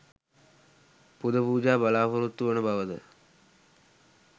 පුද පූජා බලාපොරොත්තු වන බවද